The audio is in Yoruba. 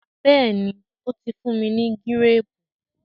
béèni o tí fún ní Gírèèpù.